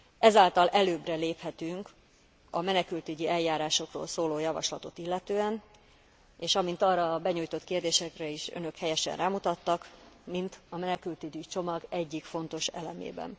Ezáltal előbbre léphetünk a menekültügyi eljárásokról szóló javaslatot illetően, és amint arra a benyújtott kérdésekben is önök helyesen rámutattak, mint a menekültügyi csomag egyik fontos elemében.